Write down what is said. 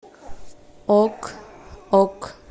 ок ок